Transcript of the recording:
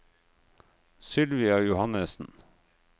Sylvia Johannesen